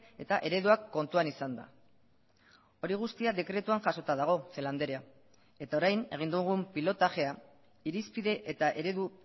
eta ereduak kontuan izanda hori guztia dekretuan jasota dago celaá andrea eta orain egin dugun pilotajea irizpide eta eredu